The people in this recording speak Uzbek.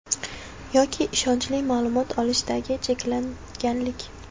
Yoki ishonchli ma’lumot olishdagi cheklanganlik.